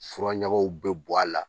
Fura ɲagaw bɛ bɔn a la